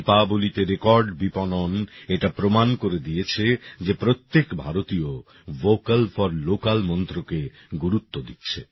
দীপাবলীতে record বিপণন এটা প্রমাণ করে দিয়েছে যে প্রত্যেক ভারতীয় ভোকাল ফর লোকাল মন্ত্রকে গুরুত্ব দিচ্ছে